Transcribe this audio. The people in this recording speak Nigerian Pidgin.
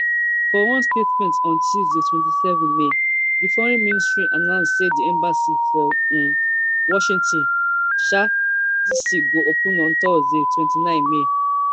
for one statement on tuesday twenty-seven may di foreign ministry announce say di embassy for um washington um dc go open on thursday twenty-nine may